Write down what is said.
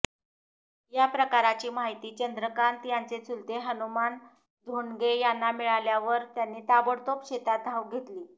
या प्रकाराची माहिती चंद्रकांत यांचे चुलते हनुमान धोंडगे यांना मिळाल्यावर त्यांनी ताबडतोब शेतात धाव घेतली